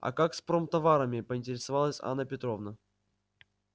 а как с промтоварами поинтересовалась анна петровна